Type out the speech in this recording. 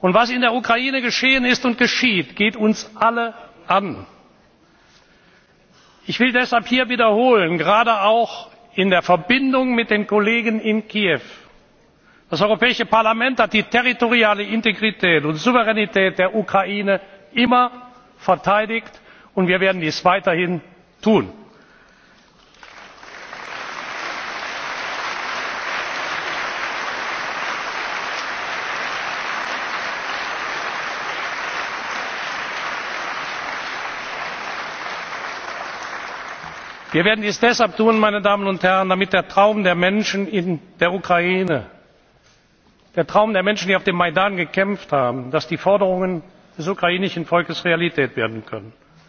zurückgekehrt. Was in der Ukraine geschehen ist und geschieht, geht uns alle an. Ich will deshalb hier wiederholen, gerade auch in der Verbindung mit den Kollegen in Kiew Das Europäische Parlament hat die territoriale Integrität und Souveränität der Ukraine immer verteidigt, und wir werden dies weiterhin tun. Wir werden dies deshalb tun, damit der Traum der Menschen in der Ukraine, der Traum der Menschen, die auf dem Majdan gekämpft haben, damit die Forderungen des ukrainischen Volkes Realität